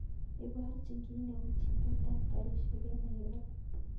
Iborchin kiit neuu chilet ab garishek en nairobi